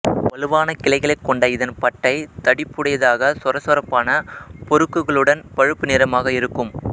வலுவான கிளைகளைக் கொண்ட இதன் பட்டை தடிப்புடையதாகச் சொரசொரப்பான பொருக்குகளுடன் பழுப்பு நிறமாக இருக்கும்